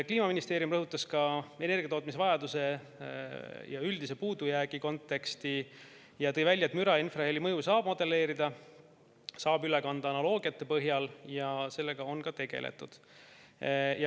Kliimaministeeriumi rõhutas ka energiatootmise vajaduse ja üldise puudujäägi konteksti ning tõi välja, et müra ja infraheli mõju saab modelleerida, saab üle kanda analoogia põhjal ja sellega on ka tegeldud.